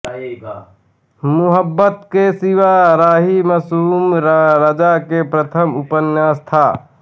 मुहब्बत के सिवा राही मासूम रज़ा का प्रथम उपन्यास था